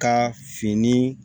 Ka fini